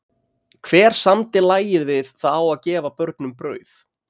Hver samdi lagið við það á að gefa börnum brauð?